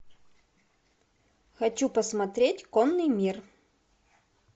хочу посмотреть конный мир